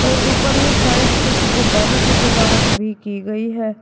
और ऊपरली साइड कुछ गुब्बारों से सजावट भी की गई है।